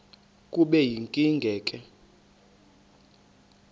kube yinkinge ke